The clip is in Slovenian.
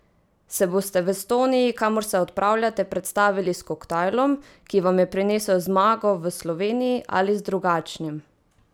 Se boste v Estoniji, kamor se odpravljate, predstavili s koktajlom, ki vam je prinesel zmago v Sloveniji, ali z drugačnim?